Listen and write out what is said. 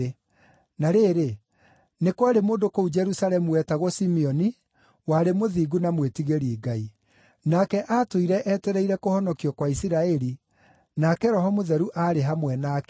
Na rĩrĩ, nĩ kwarĩ mũndũ kũu Jerusalemu wetagwo Simeoni, warĩ mũthingu na mwĩtigĩri Ngai. Nake aatũire etereire kũhonokio kwa Isiraeli, nake Roho Mũtheru aarĩ hamwe nake.